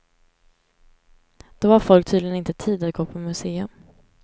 Då har folk tydligen inte tid att gå på museum.